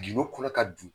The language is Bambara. Gindo kɔnɔ ka don